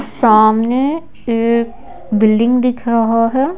सामने एक बिल्डिंग दिख रहा है।